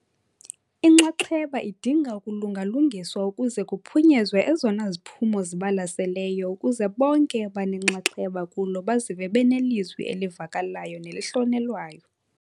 Inxaxheba idinga ukulunga-lungiswa ukuze kuphunyezwe ezona ziphumo zibalaseleyo ukuze bonke abanenxaxheba kulo bazive benelizwi elivakalayo nelihlonelwayo.